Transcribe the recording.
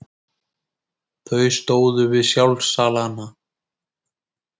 Þau stóðu við sjálfsalana.